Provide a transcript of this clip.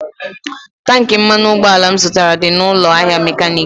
Tankị mmanụ ụgbọala m zụtara dị n'ụlọ ahịa mekaniiki.